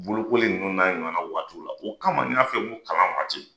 Bolokoli ninnu n'a ɲɔgɔnna waatiw la o kama n y'a f'i ye n ko kalan waati